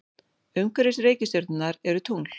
Umhverfis reikistjörnurnar eru tungl.